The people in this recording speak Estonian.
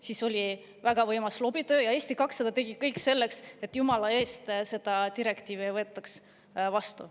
Siis oli väga võimas lobitöö ja Eesti 200 tegi kõik selleks, et jumala eest seda direktiivi ei võetaks vastu.